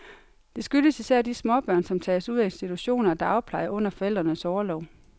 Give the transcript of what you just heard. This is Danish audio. Det skyldes især de småbørn, som tages ud af institutioner og dagpleje under forældrenes orlov.